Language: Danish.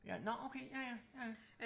Ja nåh okay ja ja ja ja